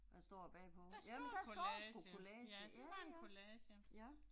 Hvad står der bagpå, jamen der står sgu collage, ja ja, ja